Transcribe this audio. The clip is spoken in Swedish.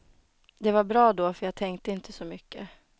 Det var bra då för jag tänkte inte så mycket.